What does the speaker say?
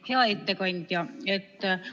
Hea ettekandja!